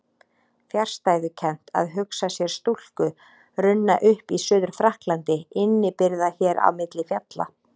Fjarstæðukennt að hugsa sér stúlku runna upp í Suður-Frakklandi innibyrgða hér á milli fjalla.